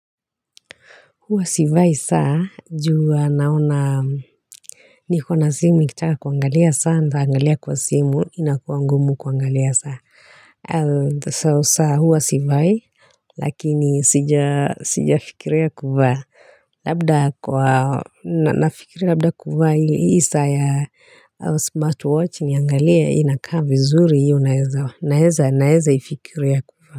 Huwa sivai saa juu huwa naona nikona simu nikitaka kuangalia saa nitaangalia kwa simu inakuwa ngumu kuangalia saa so saa huwa sivai lakini sija sijafikiria kuvaa labda kwa na nafikiria labda kuvaa hii saa ya smartwatch niangalie inakaa vizuri hii unaeza naeza naezaifikiria kuvaa.